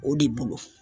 O de bolo